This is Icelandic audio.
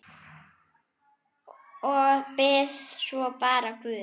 Og bið svo bara guð.